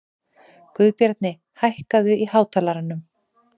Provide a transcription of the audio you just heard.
Guðbjarni, hækkaðu í hátalaranum.